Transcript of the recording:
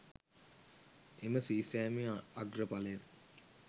එම සී සෑමේ අග්‍රඵලය